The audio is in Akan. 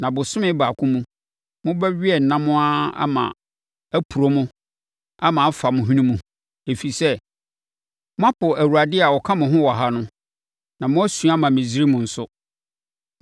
Na bosome baako mu, mobɛwe ɛnam ara ma apuro mo ama afa mo hwene mu. Ɛfiri sɛ, moapo Awurade a ɔka mo ho wɔ ha no, na moasu ama Misraim nso.’ ”